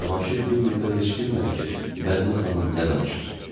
Və Cavanşir bir müddət heç bilmədi ki, Mədinə xanım nə danışır.